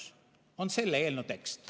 " See on selle eelnõu tekst.